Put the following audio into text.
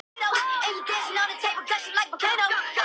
Hvaðan er orðið komið og hvað er það gamalt?